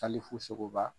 Hali fusokoba